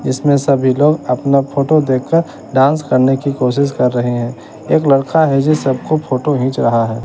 इसमें सभी लोग अपना फोटो देखकर डांस करने की कोशिश कर रहे हैं एक लड़का है जो सबको फोटो घिंच रहा है।